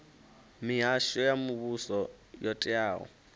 mihasho ya muvhuso yo teaho